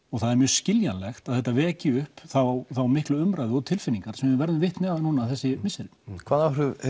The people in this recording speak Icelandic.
og það er mjög skiljanlegt að þetta vekji upp þá miklu umræðu og tilfinningar sem við verðum vitni að þessi misseri hvaða áhrif